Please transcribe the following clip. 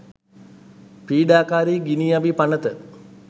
පීඩාකාරි ගිනි අවි පනත